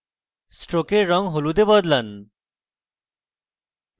stroke রঙ হলুদে বদলান